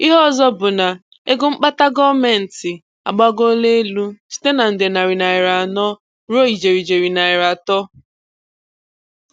Ìhè ọzọ bụ na égo mkpàtà gọọ́mẹntì agbàgòòlà elu site na nde narị naịra anọ ruo ijeri ijeri naịra atọ.